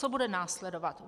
Co bude následovat?